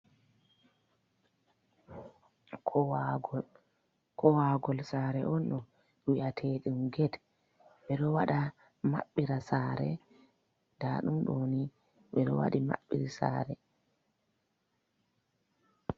Kowagôl, Kowagôl sare on ɗo wi'atedum gét, ɓedo waɗa mabɓira sare ɗaɗum ɗoni ɓedo waɗi maɓbiri sare.